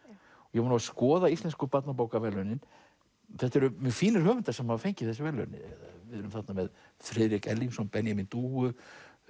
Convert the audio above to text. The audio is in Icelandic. ég var að skoða Íslensku barnabókaverðlaunin þetta eru mjög fínir höfundar sem hafa fengið þessi verðlaun við erum þarna með Friðrik Erlingsson Benjamín dúfu